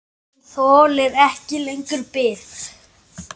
Maginn þolir ekki lengur bið.